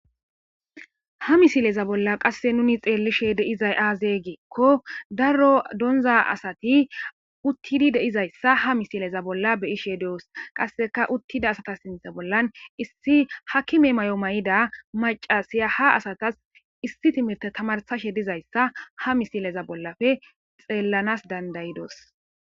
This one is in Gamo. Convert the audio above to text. ha misileza bolla qasse nuni xeellishe deizay aazey giikko darro donza asati uttidi deizayssa ha misileza bolla beyishe deos qasseka uttida asata sinthe bollan issi hakime may7o may7ida maca siya ha asatas issi timite tamarsashe dizayssa ha misileza bollafe xeellanas dandayidos